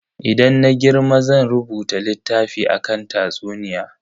Idan na girma zan rubuta littafi akan tatsuniya.